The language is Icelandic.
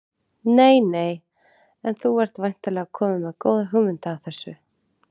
Nei nei En þú ert væntanlega kominn með góða hugmynd að þessu?